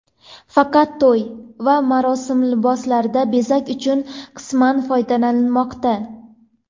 Faqat to‘y va marosim liboslarida bezak uchun qisman foydalanilmoqda.